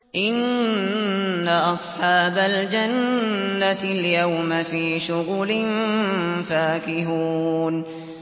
إِنَّ أَصْحَابَ الْجَنَّةِ الْيَوْمَ فِي شُغُلٍ فَاكِهُونَ